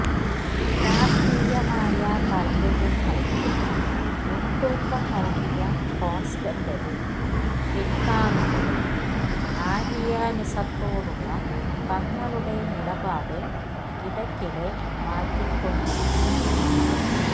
രാഷ്ട്രീയമായ താത്പര്യങ്ങൾക്കു മുൻതൂക്കം നൽകിയ കോൺസ്റ്റന്റൈനും പിൻഗാമികളും ആരിയനിസത്തോടുള്ള തങ്ങളുടെ നിലപാട് ഇടക്കിടെ മാറ്റിക്കോണ്ടിരുന്നു